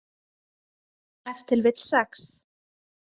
Ef til vill sex.